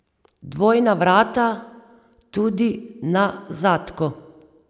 Dvojna vrata tudi na zadku.